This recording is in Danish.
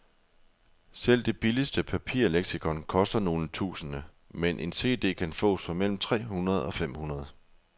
Selv det billigste papirleksikon koster nogle tusinde, mens en cd kan fås for mellem tre hundrede og fem hundrede.